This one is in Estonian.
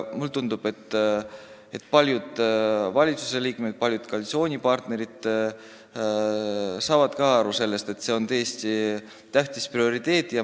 Mulle tundub, et paljud valitsusliikmed, paljud koalitsioonipartnerid saavad aru sellest, et see on tõesti prioriteet.